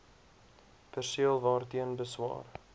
perseel waarteen beswaar